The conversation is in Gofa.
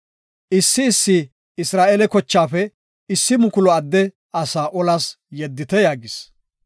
Issi issi Isra7eele kochaafe issi mukulu adde asaa olas yeddite” yaagis.